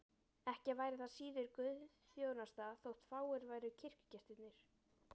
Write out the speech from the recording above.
Ekki væri það síður guðsþjónusta þótt fáir væru kirkjugestirnir.